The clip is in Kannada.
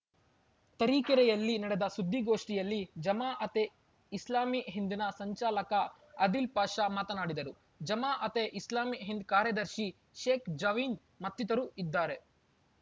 ತರೀಕೆರೆಯಲ್ಲಿ ನಡೆದ ಸುದ್ದಿಗೋಷ್ಠಿಯಲ್ಲಿ ಜಮಾಅತೆ ಇಸ್ಲಾಮೀ ಹಿಂದ್‌ನ ಸಂಚಾಲಕ ಆದಿಲ್‌ ಪಾಷ ಮಾತನಾಡಿದರು ಜಮಾ ಅತೆ ಇಸ್ಲಾಮಿ ಹಿಂದ್‌ ಕಾರ್ಯದರ್ಶಿ ಶೇಖ್‌ ಜಾವೀದ್‌ ಮತ್ತಿತರರು ಇದ್ದಾರೆ